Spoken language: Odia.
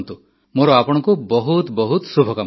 ମୋର ଆପଣଙ୍କୁ ବହୁତ ବହୁତ ଶୁଭକାମନା